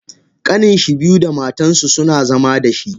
Kanninshi biyu da matansu suna zama dashi.